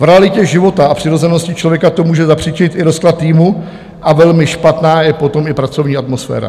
V realitě života a přirozenosti člověka to může zapříčinit i rozklad týmu a velmi špatná je potom i pracovní atmosféra.